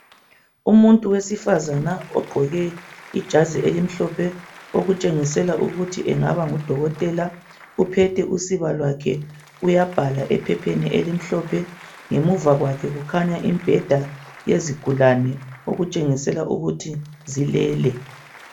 Umuntu wesifazana ogqoke ijazi elimhlophe okutshengisela ukuthi engaba ngudokotela uphethe usiba lwakhe uyabhala ephepheni elimhlophe ngemuva kwakhe kukhanya imibheda yezigulane okutshengisela ukuthi zilele.